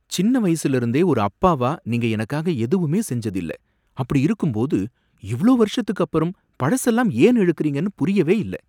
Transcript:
சின்ன வயசுல இருந்தே ஒரு அப்பாவா நீங்க எனக்காக எதுவுமே செஞ்சது இல்ல. அப்படி இருக்கும்போது இவ்ளோ வருஷத்துக்கு அப்பறம் பழசெல்லாம் ஏன் இழுக்கரீங்கனு புரியவே இல்ல.